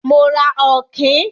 Mo ra Ọ̀kín.